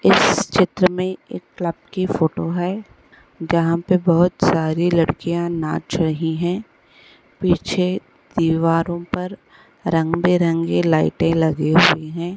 इस चित्र में एक क्लब की फ़ोटो है जहां पर बोहोत सारी लड़कियां नाच रही हैं पीछे दीवारों पर रंग-बिरंगे लाइटे लगी हुई है।